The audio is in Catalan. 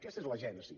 aquesta és la gènesi